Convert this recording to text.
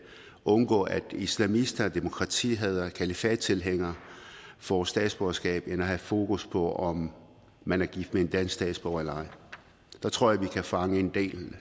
at undgå at islamister og demokratihadere og kalifattilhængere får statsborgerskab end at have fokus på om man er gift med en dansk statsborger eller ej der tror jeg vi kan fange en del